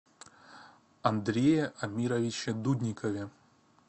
андрее амировиче дудникове